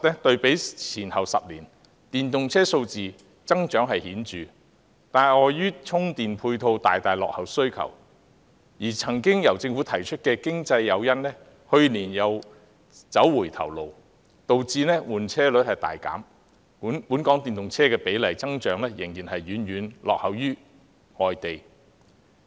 對比前10年，電動車數字增長確實顯著，但礙於充電配套大大落後於需求，而政府曾提出的經濟誘因去年又走回頭路，導致換車率大減，本港電動車的比例增長仍然遠遠落後於其他地方。